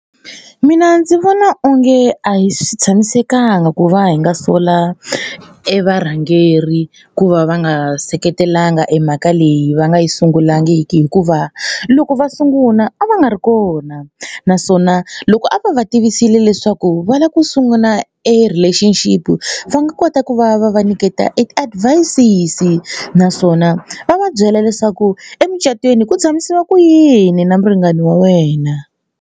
Mina ndzi vona onge a hi swi tshamisekanga ku va hi nga sola e varhangeri ku va va nga seketelangi emhaka leyi va nga yi sungulangiki hikuva loko va sungula a va nga ri kona naswona loko a va va tivisile leswaku va lava ku sungula e relationship va nga kota ku va va va nyiketa e ti-advices naswona va va byela leswaku emucatweni ku tshamisiwa ku yini na muringani wa wena.